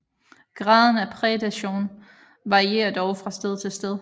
Graden af prædation varierer dog fra sted til sted